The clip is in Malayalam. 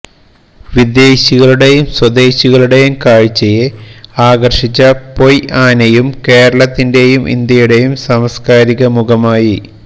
വിദേശികളുടെയും സ്വദേശികളുടെയും കാഴ്ചയെ ആകർഷിച്ച പൊയ് ആനയും കേരളത്തിന്റെയും ഇന്ത്യയുടെയും സാംസ്കാരികമുഖമായി